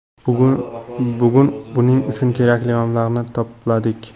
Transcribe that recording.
Bugun buning uchun kerakli mablag‘ni to‘pladik.